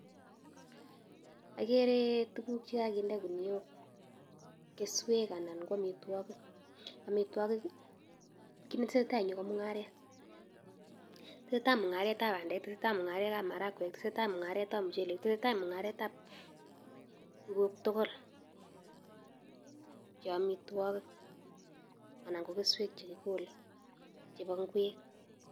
Akere tuguk chekokinde kuniok keswek anan ko amitwogik chekitesetai mung'aret ab bandek, muchelek ak tuguk tugul en keswek chekikole chebo ngwek.